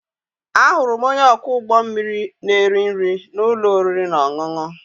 Ahụrụ m onye ọkwọ ụgbọ mmiri na-eri nri na ụlọ oriri na ọṅụṅụ.